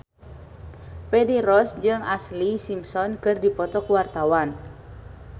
Feni Rose jeung Ashlee Simpson keur dipoto ku wartawan